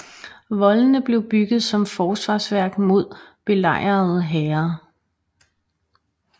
Voldene blev bygget som forsvarsværk mod belejrende hære